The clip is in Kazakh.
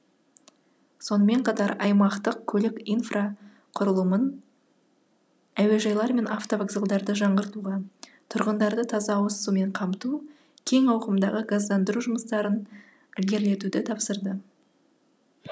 сонымен қатар аймақтық көлік инфрақұрылымын әуежайлар мен автовокзалдарды жаңғыртуға тұрғындарды таза ауыз сумен қамту кең ауқымдағы газдандыру жұмыстарын ілгерлетуді тапсырды